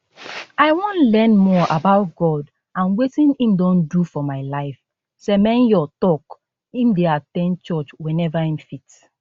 i wan learn more about god and wetin im don do for my life semenyo tok im dey at ten d church whenever im fit